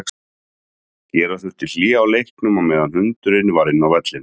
Gera þurfti hlé á leiknum á meðan hundurinn var inn á vellinum.